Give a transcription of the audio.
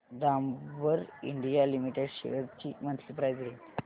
Dabur India Limited shares ची monthly price range